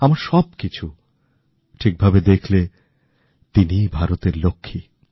আমার সব কিছু ঠিক ভাবে দেখলে তিনি ভারতের লক্ষ্মী